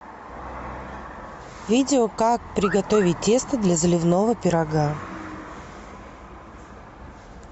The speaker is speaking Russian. видео как приготовить тесто для заливного пирога